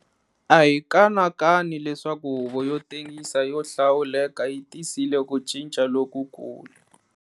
A hi kanakani leswaku Huvo yo Tengisa yo Hlawuleka yi tisile ku cinca lokukulu.